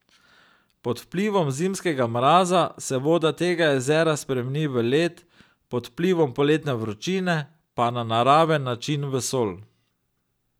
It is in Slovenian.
Pod vplivom zimskega mraza se voda tega jezera spremeni v led, pod vplivom poletne vročine pa na naraven način v sol.